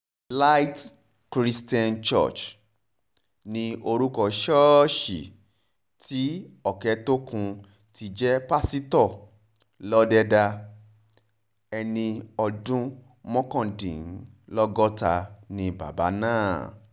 light christian church ni orúkọ ṣọ́ọ̀ṣì tí òkẹ́tókùn ti jẹ́ pásítọ̀ lọ́dẹ̀dà ẹni ọdún mọ́kàndínlọ́gọ́ta ni bàbá náà